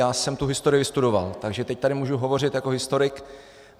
Já jsem tu historii vystudoval, takže teď tady můžu hovořit jako historik.